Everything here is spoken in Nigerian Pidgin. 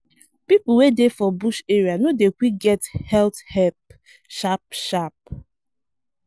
people wey dey for bush area no dey quick get health help sharp-sharp.